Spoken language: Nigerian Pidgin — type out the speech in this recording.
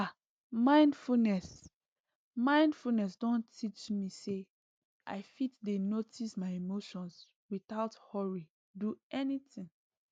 ah mindfulness mindfulness don teach me say i fit dey notice my emotions without hurry do anything